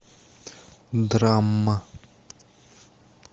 драма